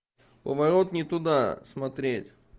поворот не туда смотреть